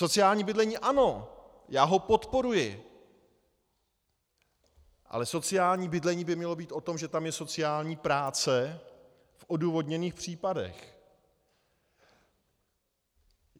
Sociální bydlení ano, já ho podporuji, ale sociální bydlení by mělo být o tom, že tam je sociální práce v odůvodněných případech.